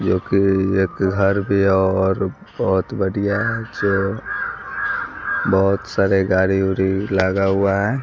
जो कि एक घर भी है और बहुत बढ़िया है जो बहुत सारे गाड़ी उड़ी लगा हुआ है।